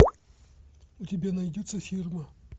у тебя найдется фирма